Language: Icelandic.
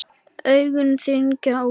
Augun þenjast út.